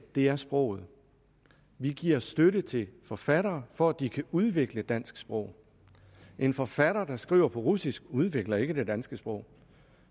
er sproget vi giver støtte til forfattere for at de kan udvikle det danske sprog en forfatter der skriver på russisk udvikler ikke det danske sprog